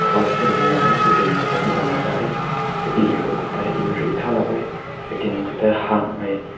cross ta niew weh katin ta phuwn mai ta kapi rui ta erin ta lao weh kati kaw ta hüng mai.